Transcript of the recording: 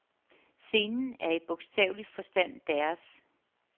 Scenen er i bogstavelig forstand deres.